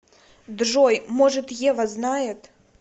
джой может ева знает